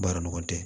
Baara nɔgɔ tɛ